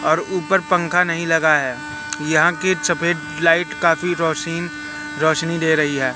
और ऊपर पंखा नहीं लगा है यहां के चफेद लाइट काफी रोशीन रोशनी दे रही है।